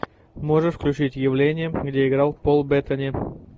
можешь включить явление где играл пол беттани